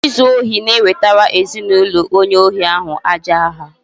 Izu ohi na-ewtara ezinụlọ onye ohi ahụ aja aha